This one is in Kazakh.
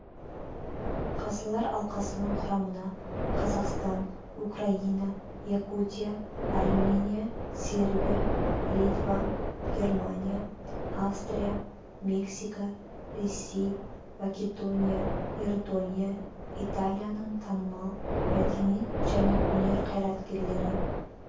қазылар алқасының құрамына қазақстан украина якутия армения сербия литва германия австрия мексика ресей македония иордания италияның танымал мәдениет және өнер қайраткерлері